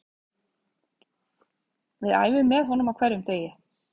Við æfum með honum á hverjum einasta degi